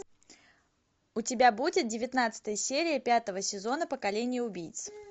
у тебя будет девятнадцатая серия пятого сезона поколение убийц